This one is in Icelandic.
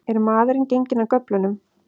Er maðurinn genginn af göflunum?